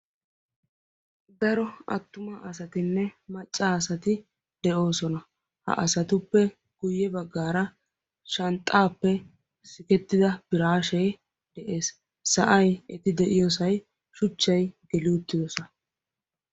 daro attuma asatinne macca asati de'oosona ha asatuppe guyye baggaara shanxxaappe sikettida biraashee de'ees sa'ay eti de'iyoosay shuchchay geli uttiyoosa